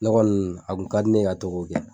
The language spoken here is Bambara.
ne kɔni a kun ka di ne ye ka to k'o kɛ